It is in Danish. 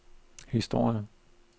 historie